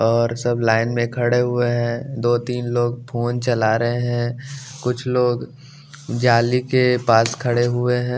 और सब लाइन में खड़े हुए हैं दो तीन लोग फोन चला रहे हैं कुछ लोग जाली के पास खड़े हुए हैं।